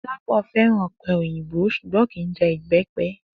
Do̩lápò̩ fé̩ràn ò̩pe̩ òyìnbó s̩ùgbó̩n kì í je̩ ìbé̩pe̩